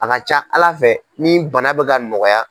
A ka ca ala fɛ ni bana bɛ ka nɔgɔya.